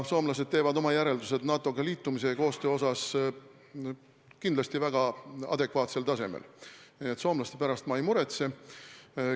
Soomlased teevad oma järeldused NATO-ga liitumise ja koostöö tegemise kohta kindlasti väga adekvaatsel tasemel, nii et soomlaste pärast ma ei muretse.